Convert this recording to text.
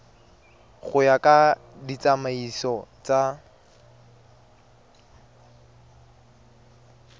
go ya ka ditsamaiso tsa